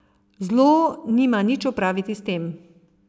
Zlo nima nič opraviti s tem.